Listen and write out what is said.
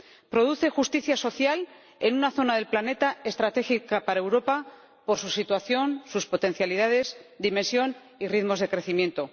Produce justicia social en una zona del planeta estratégica para Europa por su situación, sus potencialidades, su dimensión y sus ritmos de crecimiento.